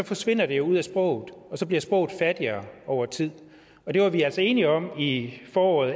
forsvinder det jo ud af sproget og så bliver sproget fattigere over tid det var vi altså enige om i foråret